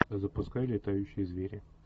запускай летающие звери